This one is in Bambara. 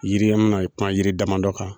Yiriyɛmuna a ye kuma yiri dama dɔ kan.